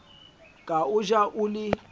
ka o ja o le